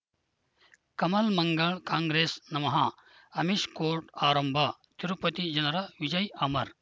ಕಮಲ್ ಮಂಗಳ್ ಕಾಂಗ್ರೆಸ್ ನಮಃ ಅಮಿಷ್ ಕೋರ್ಟ್ ಆರಂಭ ತಿರುಪತಿ ಜನರ ವಿಜಯ ಅಮರ್